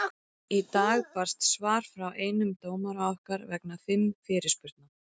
Í dag barst svar frá einum dómara okkar vegna fimm fyrirspurna.